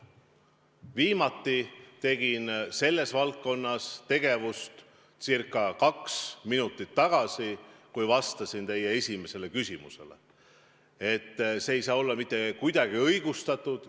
Viimati tegin seda circa kaks minutit tagasi, kui vastasin teie esimesele küsimusele, et selline reageering ei saa olla mitte kuidagi õigustatud.